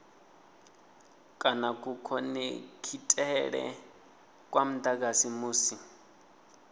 kana kukhonekhithele kwa mudagasi musi